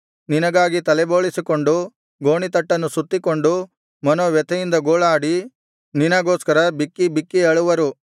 ನಿನಗಾಗಿ ತಲೆ ಬೋಳಿಸಿಕೊಂಡು ಗೋಣಿತಟ್ಟನ್ನು ಸುತ್ತಿಕೊಂಡು ಮನೋವ್ಯಥೆಯಿಂದ ಗೋಳಾಡಿ ನಿನಗೋಸ್ಕರ ಬಿಕ್ಕಿಬಿಕ್ಕಿ ಅಳುವರು